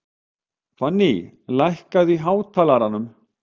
Fanný, lækkaðu í hátalaranum.